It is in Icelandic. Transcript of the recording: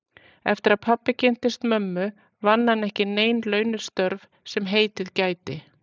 Eftir að pabbi kynntist mömmu vann hann ekki nein launuð störf sem heitið gæti.